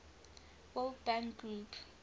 world bank group